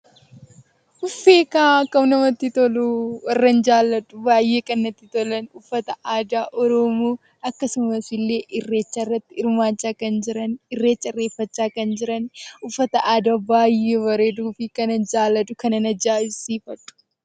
Akkam namatti toluu! Warran baay'ee jaalladhu! Uffata aadaa oromoo akkasumas illee irreecharratti hirmaachaa kan jiran irreeffachaa kan jiran uffata aadaa baay'ee bareeduu fi kanan jaalladhuu fi ajaa'ibsiifadhu.